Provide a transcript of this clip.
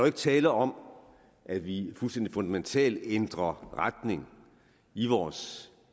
ikke tale om at vi fuldstændig fundamentalt ændrer retning i vores